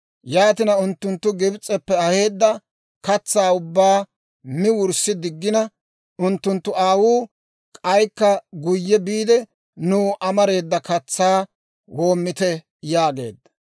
Yaatina unttunttu Gibs'eppe aheedda katsaa ubbaa mi wurssi diggina, unttunttu aawuu, «K'aykka guyye biide nuw amareeda katsaa woomite» yaageedda.